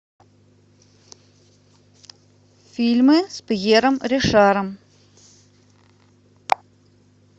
фильмы с пьером ришаром